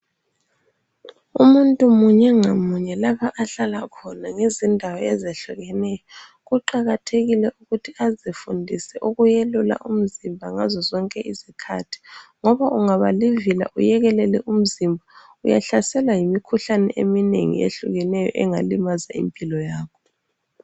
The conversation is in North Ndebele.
Umuntu munyengamunye lapha ahlala khona ngezindawo ezehlukeneyo, kuqakathekile ukuthi azifundise ukwelula umzimba ngazo zonke izikhathi ngoba ungabalivila uyekelele umzimba, uyahlaselwa yimikhuhlane eminengi eyehlukeneyo engalimaza impilo yakho.